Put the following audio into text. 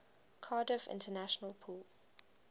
cardiff international pool